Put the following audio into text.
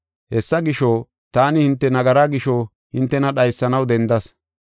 Hessa gisho, taani hinte nagaraa gisho hintena dhaysanaw dendas.